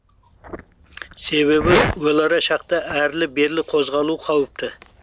себебі өлара шақта әрлі берлі қозғалу қауіпті